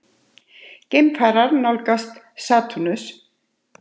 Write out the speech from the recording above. Geimfar nálgast Satúrnus.